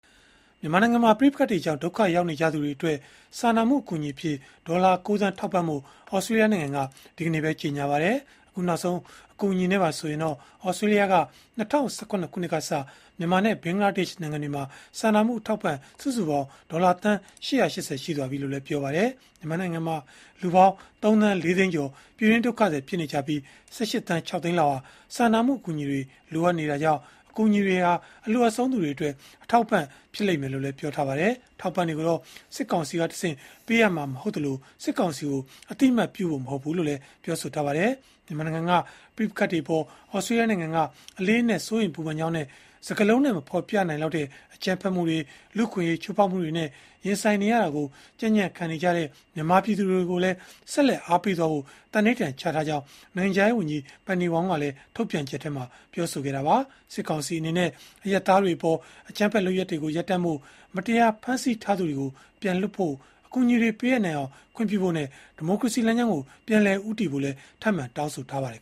မြန်မာနိုင်ငံမှာ ပဋိပက္ခတွေကြောင့် ဒုက္ခရောက်နေကြသူတွေအတွက် စာနာမှု အကူအညီအဖြစ် ဒေါ်လာ ၉ သန်း ထောက်ပံ့ဖို့ သြစတြေးလျနိုင်ငံက ဒီကနေ့ပဲ ကြေညာလိုက်ပါတယ်။ အခုနောက်ဆုံး အကူအညီနဲ့ပါဆိုရင် သြစတြေးလျက ၂၀၁၇ ခုနှစ်ကစ မြန်မာနဲ့ ဘင်္ဂလားဒေ့ရှ် နိုင်ငံမှာ စာနာမှုအထောက်အပံ့ စုစုပေါင်း ဒေါ်လာသန်း ၈၈၀ ရှိပြီလို့လည်း ပြောပါတယ်။ မြန်မာနိုင်ငံမှာ လူပေါင်း ၃ သန်း ၄ သိန်းကျော် ပြည်တွင်းဒုက္ခသည် ဖြစ်နေကြပြီး ၁၈ သန်း ၆ သိန်းလောက်ဟာ စာနာမှု အကူအညီတွေ လိုအပ်နေတာကြောင့် အကူအညီတွေဟာ အလိုအပ်ဆုံးသူတွေအတွက် အထောက်အပံ့ ဖြစ်လိမ့်မယ်လို့လည်း ပြောပါတယ်။ အထောက်အပံ့တွေကိုတော့ စစ်ကောင်စီကတဆင့် ပေးအပ်မှာ မဟုတ်သလို၊ စစ်ကောင်စီကို အသိအမှတ်ပြုဖို့ မဟုတ်ဘူးလို့လည်း ပြောပါတယ်။ မြန်မာနိုင်ငံက ပဋိပက္ခတွေအပေါ် သြစတြေးလျနိုင်ငံက အလေးအနက် စိုးရိမ်ပူပန်ကြောင်းနဲ့ စကားလုံးနဲ့ မဖော်ပြနိုင်လောက်တဲ့ အကြမ်းဖက်မှုတွေ၊ လူ့အခွင့်အရေး ချိုးဖောက်မှုတွေနဲ့ ရင်ဆိုင်နေရတာကို ကြံ့ကြံ့ခံနေကြတဲ့ မြန်မာပြည်သူတွေကိုလည်း ဆက်လက် အားပေးသွားဖို့ သန္နိဋ္ဌာန်ချထားကြောင်း နိုင်ငံခြားရေးဝန်ကြီး Penny Wong ကလည်း ထုတ်ပြန်ချက်မှာ ပြောဆိုခဲ့တာပါ။ စစ်ကောင်စီအနေနဲ့ အရပ်သားတွေအပေါ် အကြမ်းဖက် လုပ်ရပ်တွေကို ရပ်တန့်ဖို့၊ မတရားဖမ်းဆီးထားသူတွေကို ပြန်လွှတ်ဖို့၊ အကူအညီတွေ ပေးအပ်နိုင်အောင် ခွင့်ပြုဖို့နဲ့ ဒီမိုကရေစီ လမ်းကြောင်းကို ပြန်လည်ဦးတည်ဖို့လည်း ထပ်မံတောင်းဆိုခဲ့ပါတယ်